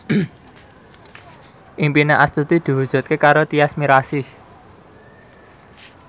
impine Astuti diwujudke karo Tyas Mirasih